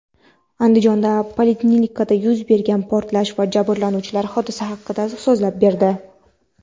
Andijondagi poliklinikada yuz bergan portlash jabrlanuvchilari hodisa haqida so‘zlab berdi.